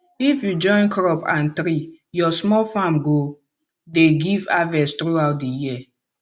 if you join crop and tree your small farm go dey give harvest throughout di year